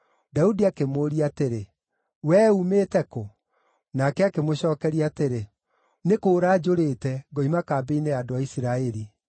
Daudi akĩmũũria atĩrĩ, “Wee uumĩte kũ?” Nake akĩmũcookeria atĩrĩ, “Nĩ kũũra njũrĩte, ngoima kambĩ-inĩ ya andũ a Isiraeli.”